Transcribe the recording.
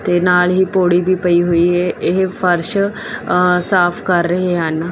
ਤੇ ਨਾਲ ਹੀ ਪੌੜੀ ਵੀ ਪਈ ਹੋਈ ਏ ਇਹ ਫਰਸ਼ ਸਾਫ ਕਰ ਰਹੇ ਹਨ।